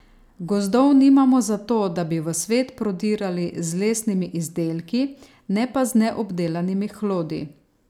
Gozdov nimamo zato, da bi v svet prodirali z lesnimi izdelki, ne pa z neobdelanimi hlodi.